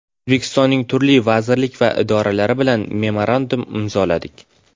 O‘zbekistonning turli vazirlik va idoralari bilan memorandum imzoladik .